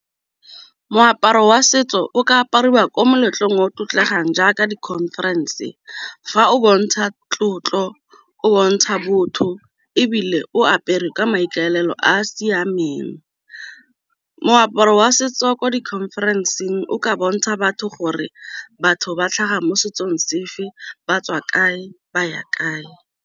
Moaparo wa setso o ka apariwa ko meletlong o tlotlegang jaaka di-conference fa o bontsha tlotlo, o bontsha botho, ebile o apere kwa maikaelelo a a siameng. Moaparo wa setso wa ko di-conference-ng o ka bontsha batho gore batho ba tlhaga mo setsong sefe, ba tswa kae, ba ya kae.